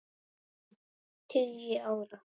tugi ára.